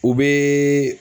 U bɛ